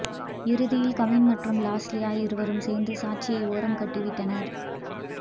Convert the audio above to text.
இறுதியில் கவின் மற்றும் லாஸ்லியா இருவரும் சேர்ந்து சாட்சியை ஓரம் கட்டி விட்டனர்